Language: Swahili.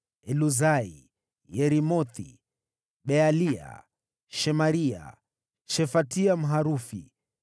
Eluzai, Yeremothi, Bealia, Shemaria, Shefatia, Mharufi;